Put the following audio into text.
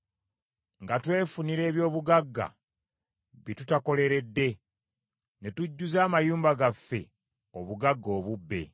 nga twefunira eby’obugagga bye tutakoleredde, ne tujjuza amayumba gaffe obugagga obubbe;